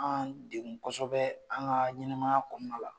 An kosɛbɛ; an ka ɲɛnɛmaya kɔnɔna la.